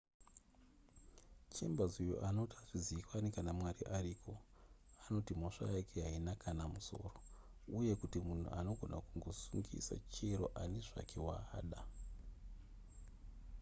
chambers uyo anoti hazvizivikanwi kana mwari ariko anoti mhosva yake haina kana nemusoro uye kuti munhu anogona kungosungisa chero ani zvake waada